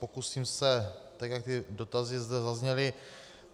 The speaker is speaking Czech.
Pokusím se, tak jak ty dotazy zde zazněly.